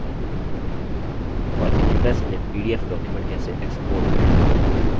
और impress में pdf document कैसे export करें